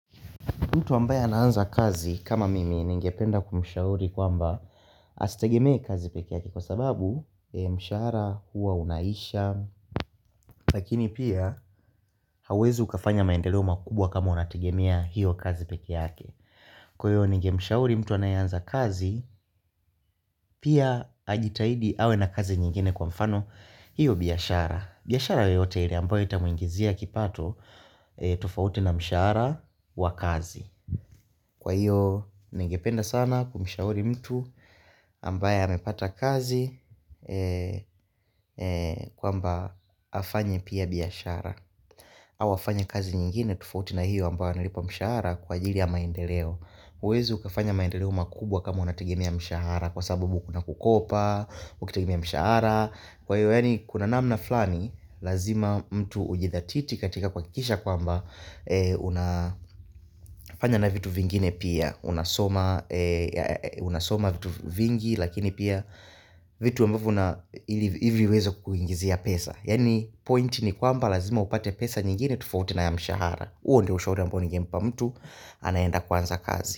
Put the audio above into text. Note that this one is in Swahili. Mtu ambaye anaanza kazi kama mimi ningependa kumshauri kwamba asitegemee kazi peke yake kwa sababu mshahara huwa unaisha. Lakini pia hauezi ukafanya maendeleo makubwa kama unategemea hiyo kazi peke yake. Kwa hiyo nengemshauri mtu anayeanza kazi pia ajitahidi awe na kazi nyingine kwa mfano hiyo biashara. Biashara yoyote ile ambayo itamuingizia kipato tofauti na mshahara wa kazi. Kwa hiyo, ningependa sana kumshauri mtu ambaye amepata kazi kwamba afanya pia biashara au afanye kazi nyingine tofauti na hiyo ambayo anilipawa mshahara kwa ajili ya maendeleo huwezi ukafanya maendeleo makubwa kama unategemea mshahara kwa sababu kuna kukopa, ukitegemea mshahara Kwa hiyo, kuna namna flani, lazima mtu ujithatiti katika kwa kuhakikisha kwamba unafanya na vitu vingine pia unasoma vitu vingi lakini pia vitu ambavyo na ili viweze kuingizia pesa Yani point ni kwamba lazima upate pesa nyingine tofauti na ya mshahara uo ndio ushauri ambao ningempa mtu anaenda kwanza kazi.